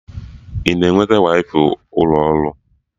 Ị na-enweta waifai ụlọ ọrụ?